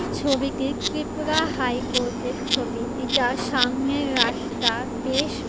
ছবিটি ত্রিপুরা হাইকোর্টের ছবি এটার সামনে রাস্তা বেশ--